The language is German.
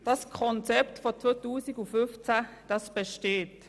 Das Konzept aus dem Jahr 2015 besteht.